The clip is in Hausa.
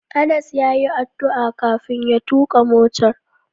Anas yayi addu'a kafin ya tuka motar.